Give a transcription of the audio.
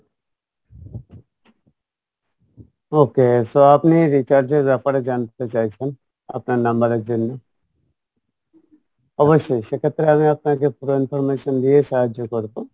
okay so আপনি recharge এর ব্যাপারে জানতে চাইছেন আপনার number এর জন্য, অবশ্যই সেক্ষেত্রে আমি আপনাকে পুরো information দিয়ে সাহায্য করবো